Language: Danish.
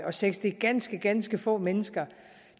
og seks det er ganske ganske få mennesker